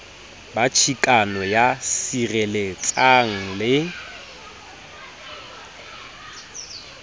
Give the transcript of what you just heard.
ba chikano ya sireletsang le